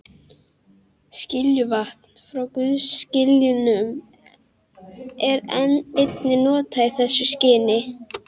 Skiljuvatn frá gufuskiljunum er einnig notað í þessu skyni.